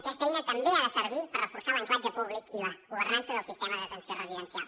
aquesta eina també ha de servir per reforçar l’ancoratge públic i la governança del sistema d’atenció residencial